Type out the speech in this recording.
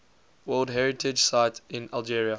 world heritage sites in algeria